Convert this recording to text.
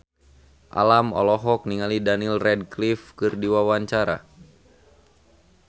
Alam olohok ningali Daniel Radcliffe keur diwawancara